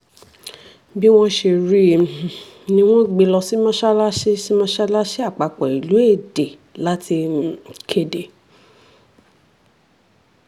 bí wọ́n ṣe rí um i ni wọ́n gbé e lọ sí mọ́sálásì sí mọ́sálásì àpapọ̀ ìlú èdè láti um kéde